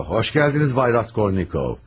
O, xoş gəldiniz, Bay Raskolnikov.